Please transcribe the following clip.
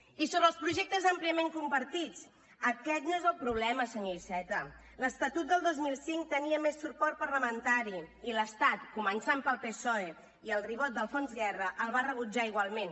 i sobre els projectes àmpliament compartits aquest no és el problema senyor iceta l’estatut del dos mil cinc tenia més suport parlamentari i l’estat començant pel psoe i el ribot d’alfons guerra el va rebutjar igualment